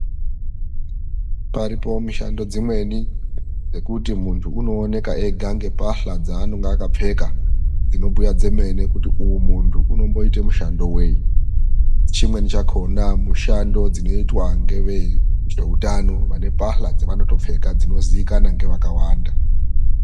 Paripo mishando dzimweni dzekuti muntu unooneka ega ngembahla dzaanenge akapfeka dzinobhuya dzemene kuti uyu muntu unomboite mushando vei? Chimweni chakona mushando dzinoitwa ngeveutano, vane mbahla dzevanotopfeka dzinoziikanwa nevakawanda.